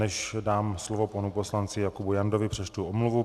Než dám slovo panu poslanci Jakubu Jandovi, přečtu omluvu.